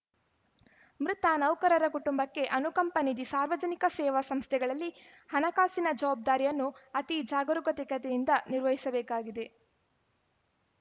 ಮೃತ ನೌಕರರ ಕುಟುಂಬಕ್ಕೆ ಅನುಕಂಪ ನಿಧಿ ಸಾರ್ವಜನಿಕ ಸೇವಾ ಸಂಸ್ಥೆಗಳಲ್ಲಿ ಹಣಕಾಸಿನ ಜವಾಬ್ದಾರಿಯನ್ನು ಅತಿ ಜಾಗರೂಕತೆಯಿಂದ ನಿರ್ವಹಿಸಬೇಕಾಗಿದೆ